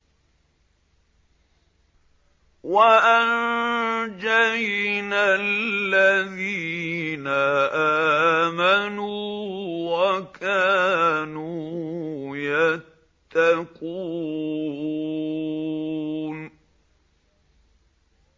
وَأَنجَيْنَا الَّذِينَ آمَنُوا وَكَانُوا يَتَّقُونَ